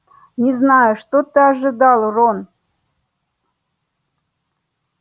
не знаю что ты ожидал рон